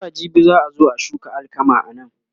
zuwa jibi za'a zo a shuka alkama anan